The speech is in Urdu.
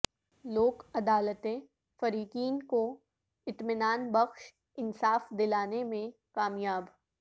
لوک عدالتیں فریقین کو اطمینان بخش انصاف دلانے میںکامیاب